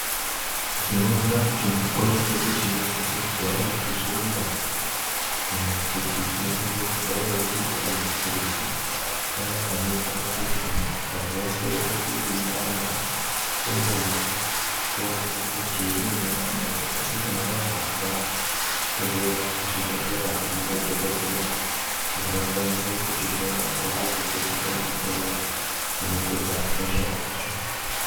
Tinoda kuti mukupona kwedu tinosisa kugarawo tichirumba kana kuti tinofanira kugarawo tinewo mapirizi aya anoita kuti tikazwa soro redu reipanda tombomwa toona kuti rinonyarara ere asi kana razoramba tozoenda kuchibhedhleya kune madhokodheya kuti vakwanise kutihloya pamwe nekutipa mutombo unopedza hosha yacho.